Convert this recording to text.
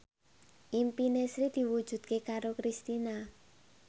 impine Sri diwujudke karo Kristina